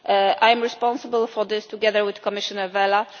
I am responsible for this, together with Commissioner Vella.